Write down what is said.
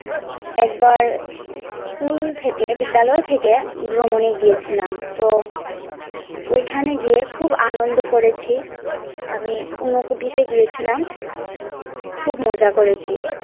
একবার স্কুল থেকে বিদ্যালয় থেকে ভ্রমনে গিয়েছিলাম তো ওইখানে গিয়ে আমি খুব আনন্দ করেছি, আমি ঊনকোটিতে গিয়েছিলাম খুব মজা করেছি।